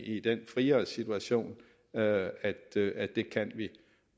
i den friere situation at at det kan vi